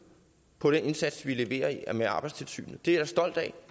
på den indsats som vi leverer med arbejdstilsynet det er stolt af